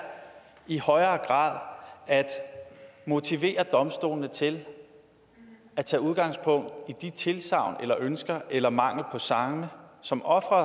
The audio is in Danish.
i højere grad at motivere domstolene til at tage udgangspunkt i de tilsagn eller ønsker eller mangel på samme som offeret